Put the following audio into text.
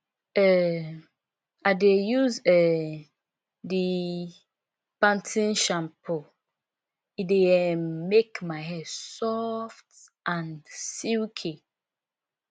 um i dey use um di pan ten e shampoo e dey um make my hair soft and silky